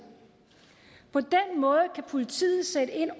på den måde kan politiet sætte ind